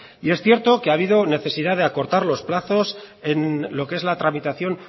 y es cierto que ha habido necesidad de acortar los plazos en lo que es la tramitación